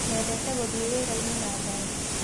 Wendete gũthĩ wĩrainĩ na ngari?